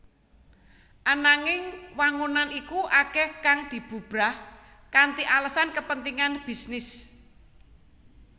Ananging wangunan iku akeh kang dibubrak kanthi alesan kepentingan bisnis